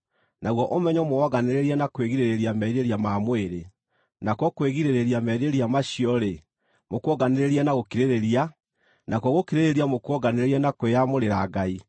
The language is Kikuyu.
naguo ũmenyo mũwonganĩrĩrie na kwĩgirĩrĩria merirĩria ma mwĩrĩ; nakuo kwĩgirĩrĩria merirĩria macio-rĩ, mũkuonganĩrĩrie na gũkirĩrĩria; nakuo gũkirĩrĩria mũkuonganĩrĩrie na kwĩyamũrĩra Ngai;